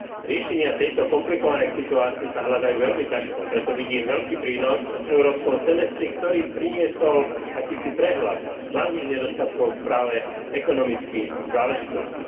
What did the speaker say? Riešenia tejto komplikovanej situácie sa hľadajú veľmi ťažko, preto vidím veľký prínos v európskom semestri, ktorý priniesol akýsi prehľad hlavných nedostatkov v správe ekonomických záležitostí.